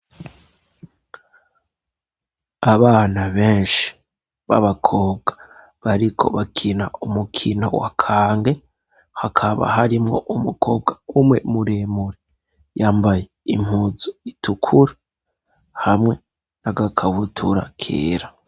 Abana benshi b'abakobwa bariko bakina umukino wa kange hakaba harimwo umukobwa umwe muremure yambaye impuzu itukura hamwe n'agakabutura kera.